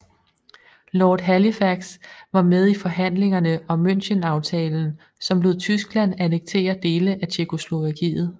Lord Halifax var med i forhandlingerne om Münchenaftalen som lod Tyskland annektere dele af Tjekkoslovakiet